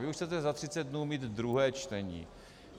Vy už chcete za 30 dnů mít druhé čtení.